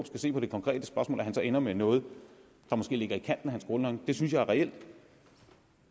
skal se på det konkrete spørgsmål ender med noget der måske ligger i kanten af hans grundholdning det synes jeg er reelt